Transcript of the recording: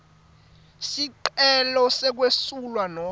sicelo sekwesula nobe